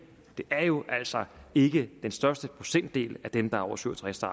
det er jo altså ikke den største procentdel af dem der er over syv og tres år